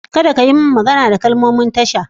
Kada kayi min magana da kalmomin tasha!